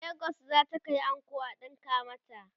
legas zata Kai anko a ɗinka mata